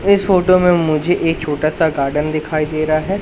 इस फोटो में मुझे एक छोटा सा गार्डन दिखाई दे रहा है।